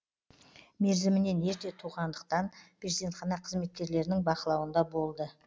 мерзімінен ерте туғандықтан перзентхана қызметкерлерінің бақылауында болды